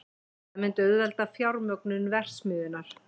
Það myndi auðvelda fjármögnun verksmiðjunnar